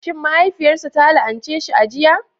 Shin mahaifiyarsa ta la'ance shi a jiya?